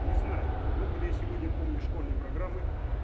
не знаю много ли я сегодня помню школьной программы